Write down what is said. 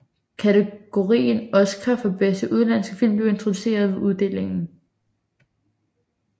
Kategorien oscar for bedste udenlandske film blev introduceret ved uddelingen